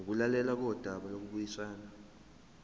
ukulalelwa kodaba lokubuyisana